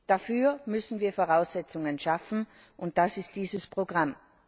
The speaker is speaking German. Dafür müssen wir Voraussetzungen schaffen, und das ist dieses Programm.